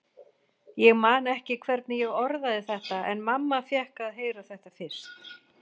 Ég man ekki hvernig ég orðaði þetta, en mamma fékk að heyra þetta fyrst.